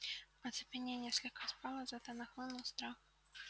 оцепенение слегка спало зато нахлынул страх